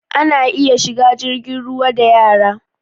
Ana iya shiga jirgin ruwa da yara